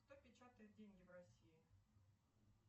кто печатает деньги в россии